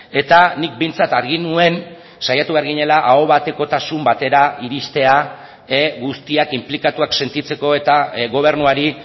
eta nik behintzat argi nuen saiatu behar ginela aho batekotasun batera iristea guztiak inplikatuak sentitzeko eta gobernuari